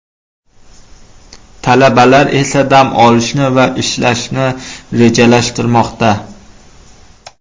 Talabalar esa dam olishni va ishlashni rejalashtirmoqda.